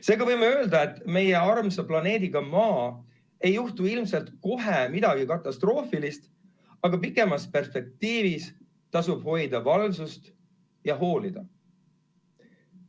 Seega võime öelda, et meie armsa planeediga Maa ei juhtu ilmselt kohe midagi katastroofilist, aga pikemas perspektiivis tasub hoida valvsust ja hoolida.